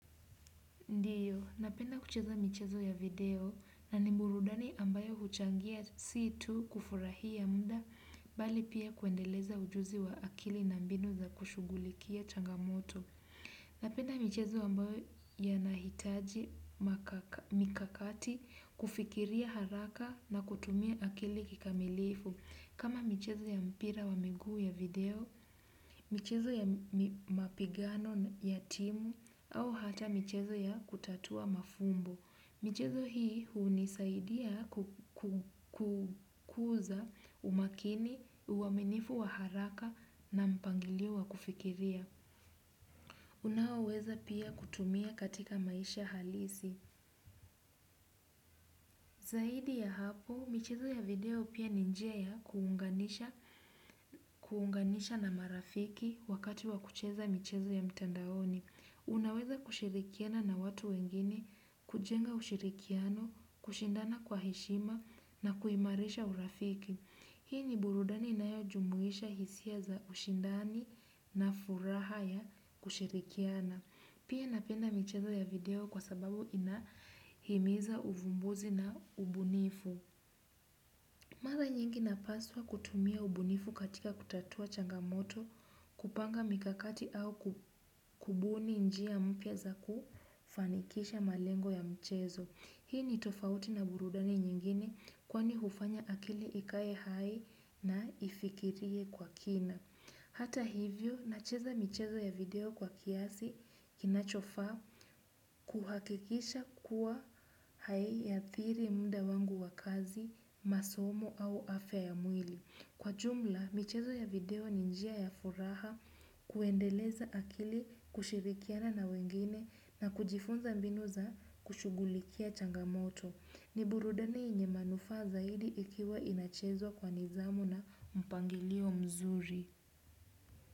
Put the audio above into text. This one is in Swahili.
Ndiyo, napenda kucheza michezo ya video na ni burudani ambayo huchangia si tu kufurahia muda, bali pia kuendeleza ujuzi wa akili na mbinu za kushugulikia changamoto. Napenda michezo ambayo yanahitaji mikakati kufikiria haraka na kutumia akili kikamilifu. Kama michezo ya mpira wa miguu ya video, michezo ya mapigano ya timu au hata michezo ya kutatua mafumbo. Michezo hii hunisaidia kukuza umakini, uaminifu wa haraka na mpangilio wa kufikiria. Unaoweza pia kutumia katika maisha halisi. Zaidi ya hapo, michezo ya video pia ni njia ya kuunganisha na marafiki wakati wa kucheza michezo ya mtandaoni. Unaweza kushirikiana na watu wengine, kujenga ushirikiano, kushindana kwa heshima na kuimarisha urafiki. Hii ni burudani inayojumuisha hisia za ushindani na furaha ya kushirikiana. Pia napenda michezo ya video kwa sababu inahimiza uvumbuzi na ubunifu. Mara nyingi napaswa kutumia ubunifu katika kutatua changamoto kupanga mikakati au kubuni njia mpya za kufanikisha malengo ya mchezo. Hii ni tofauti na burudani nyingine kwani hufanya akili ikae hai na ifikirie kwa kina. Hata hivyo, nacheza michezo ya video kwa kiasi kinachofaa kuhakikisha kuwa haiathiri muda wangu wa kazi, masomo au afya ya mwili. Kwa jumla, michezo ya video ni njia ya furaha kuendeleza akili kushirikiana na wengine na kujifunza mbinu za kushugulikia changamoto. Ni burudani yenye manufaa zaidi ikiwa inachezwa kwa nidhamu na mpangilio mzuri.